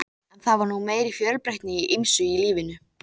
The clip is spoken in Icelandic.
En það var nú meiri fjölbreytni í ýmsu í lífinu.